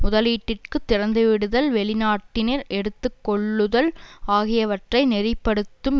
முதலீட்டிற்கு திறந்துவிடுதல் வெளிநாட்டினர் எடுத்து கொள்ளுதல் ஆகியவற்றை நெறி படுத்தும்